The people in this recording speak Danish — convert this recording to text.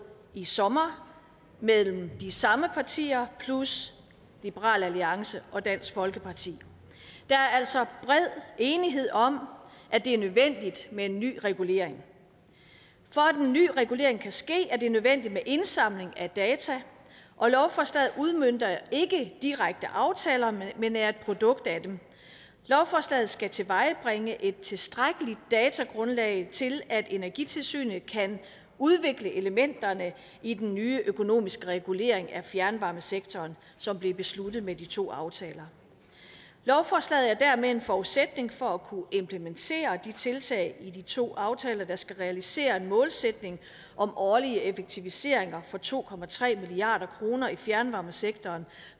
i sommer mellem de samme partier plus liberal alliance og dansk folkeparti der er altså bred enighed om at det er nødvendigt med en ny regulering for at den nye regulering kan ske er det nødvendigt med indsamling af data og lovforslaget udmønter ikke direkte aftaler men er et produkt af dem lovforslaget skal tilvejebringe et tilstrækkeligt datagrundlag til at energitilsynet kan udvikle elementerne i den nye økonomiske regulering af fjernvarmesektoren som blev besluttet med de to aftaler lovforslaget er dermed en forudsætning for at kunne implementere de tiltag i de to aftaler der skal realisere en målsætning om årlige effektiviseringer for to milliard kroner i fjernvarmesektoren